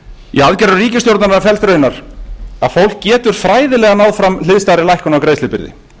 í aðgerðum ríkisstjórnarinnar felst raunar að fólk getur fræðilega náð fram hliðstæðri lækkun á greiðslubyrði